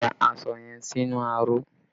Lọ rẹ aṣọ yẹn sínú aró!